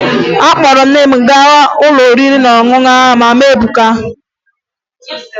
Akpọrọ m nne m gaa n'ụlọ oriri na ọṅụṅụ Mama Ebuka